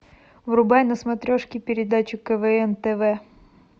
врубай на смотрешке передачу квн тв